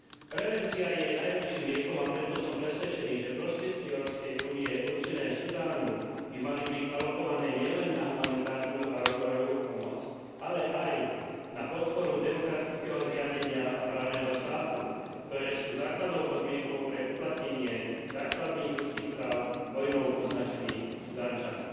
Prevencia je najlepším liekom a preto som presvedčený, že prostriedky Európskej únie určené Sudánu by mali byť alokované nielen na humanitárnu a rozvojovú pomoc, ale aj na podporu demokratického zriadenia a právneho štátu, ktoré sú základnou podmienkou pre uplatnenie základných ľudských práv vojnou poznačených Sudáncov.